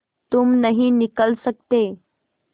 तुम नहीं निकल सकते